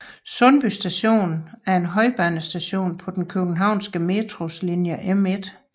Sundby Station er en højbanestation på den københavnske Metros linje M1